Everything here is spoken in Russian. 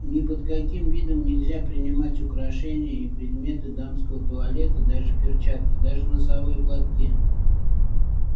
ни под каким видом нельзя принимать украшение и предметы дамского туалета даже перчатки даже носовые платки